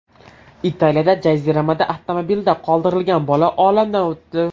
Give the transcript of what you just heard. Italiyada jaziramada avtomobilda qoldirilgan bola olamdan o‘tdi.